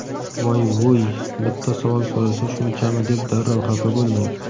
voy-vuy bitta savol so‘rasa shunchami deb darrov xafa bo‘lmang.